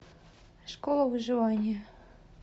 школа выживания